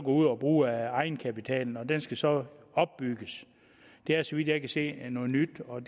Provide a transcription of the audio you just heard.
ud og bruge af egenkapitalen og den skal så opbygges det er så vidt jeg kan se noget nyt og